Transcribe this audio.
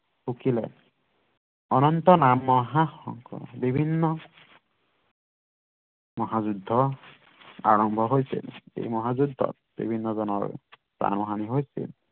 ফুকিলে অনন্তনাম মহাসংগ বিভিন্ন মহাযুদ্ধ আৰম্ভ হৈছিল এই মহাযুদ্ধত বিভিন্ন জনৰ প্ৰাণহাণি হৈছিল